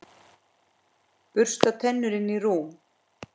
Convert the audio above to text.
Bursta tennur, inn í rúm.